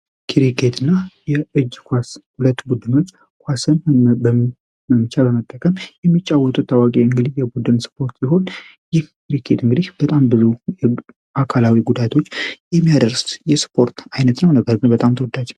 የእጅ ኳስ ኳስን በመምቻ በመጠቀም የሚጫወቱት ታዋቂ የቡድን ስፖርት ሲሆን ይህ የእጅ ኳስ እንግዲህ በጣም ብዙ አካላዊ ጉዳቶች የሚያደርስ የስፖርት አይነት ነው ነገር ግን በጣም ተወዳጅ ነው።